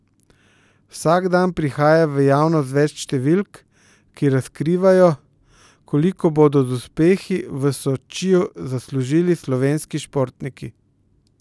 Vsak dan prihaja v javnost več številk, ki razkrivajo, koliko bodo z uspehi v Sočiju zaslužili slovenski športniki.